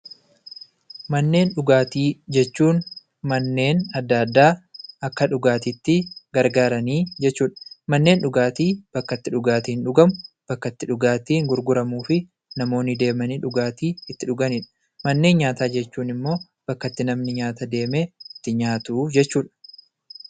Manneen dhugaatii jechuun manneen adda addaa akka dhugaatiitti tajaajilan jechuudha. Manneen dhugaati bakka itti dhugaatiin dhugamu; bakka itti dhugaatiin gurguramuufi namoonni deemanii dhugaatii itti dhuganidha. Manneen nyaataa ammoo bakka itti namni nyaata deemee itti nyaatudha jechuudha.